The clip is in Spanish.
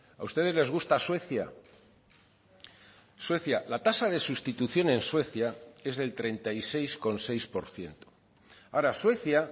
a ustedes les gusta suecia suecia la tasa de sustitución en suecia es del treinta y seis coma seis por ciento ahora suecia